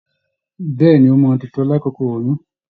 Bẹ̀ẹ́ni, o máa n tutọ l'akoko oyún.